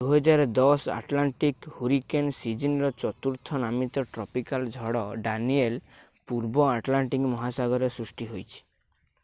2010 Atlantic hurricane ସୀଜନର ଚତୁର୍ଥ ନାମିତ ଟ୍ରପିକାଲ୍ ଝଡ ଡାନିଏଲ୍ ପୂର୍ବ ଆଟଲାଣ୍ଟିକ୍ ମହାସାଗରରେ ସୃଷ୍ଟି ହୋଇଛି